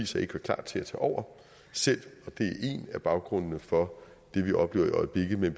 sig ikke var klar til at tage over selv og af baggrundene for det vi oplever i øjeblikket men